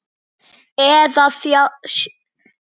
Eða sjálfan þig.